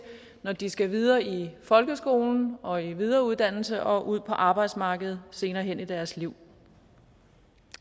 når de skal videre i folkeskolen og i videre uddannelse og ud på arbejdsmarkedet senere hen i deres liv